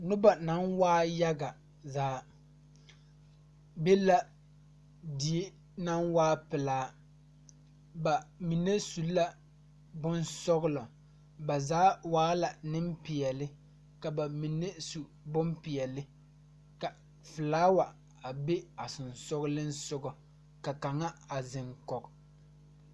Nobɔ naŋ waa yaga zaa be la die naŋ waa pelaa ba mine su la bonsɔglɔ ba zaa waala neŋpeɛɛle ka ba mine su bonpeɛle ka flaawa a be a seŋsugliŋsugɔ ka kaŋa a zeŋ kɔge.